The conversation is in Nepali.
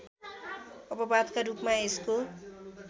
अपवादका रूपमा यसको